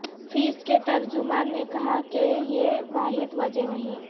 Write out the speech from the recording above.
face کے ترجمان نے کہا کہ یہ واحد وجہ نہیں